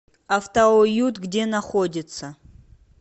автоуют где находится